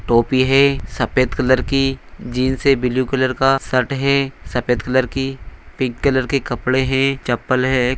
टोपी है सफेद कलर की जीन्स है ब्लू कलर का शर्ट है सफेद कलर की पिंक कलर की कपड़े है चप्पल हैं--